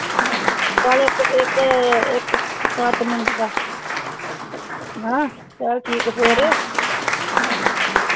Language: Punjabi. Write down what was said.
ਨਾਲੇ ਇਕ ਇਕ ਉਹ ਦਸ minute ਦਾ ਹਾਂ ਚੱਲ ਠੀਕ ਹੈ ਫੇਰ